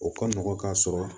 O ka nɔgɔn ka sɔrɔ